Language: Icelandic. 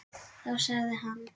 Þá sagði hann.